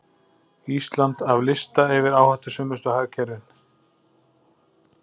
Ísland af lista yfir áhættusömustu hagkerfin